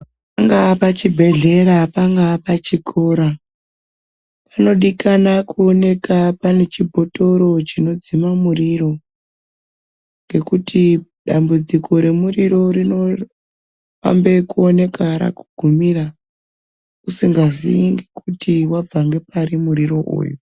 Pangaa pachibhedhlera, pangaa pachikora panodikana kuoneka pane chibhotoro chinodzima muriro, ngekuti dambudziko remuriro rinoambe kuoneka rakugumira usingazii kuti wabva ngepari muriro uyu.